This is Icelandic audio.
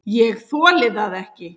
ÉG ÞOLI ÞAÐ EKKI!